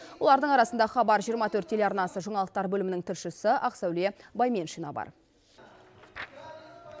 олардың арасында хабар жиырма төрт телеарнасы жаңалықтар бөлімінің тілшісі ақсәуле байменшина бар